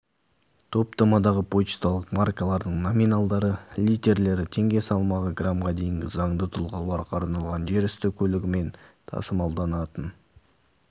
топтамадағы пошталық маркалардың номиналдары литерлері теңге салмағы грамға дейінгі заңды тұлғаларға арналған жер үсті көлігімен тасымалданатын